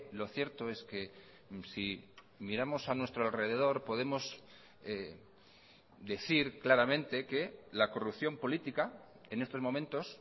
lo cierto es que si miramos a nuestro alrededor podemos decir claramente que la corrupción política en estos momentos